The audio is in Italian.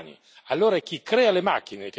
Io credo che l'etica riguardi gli umani.